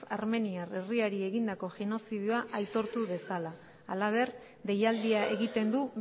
armeniar herriari egindako genozidioa aitortu dezala halaber deialdia egiten du